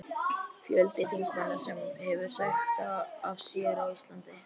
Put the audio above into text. Fjöldi þingmanna sem hefur sagt af sér á Íslandi:?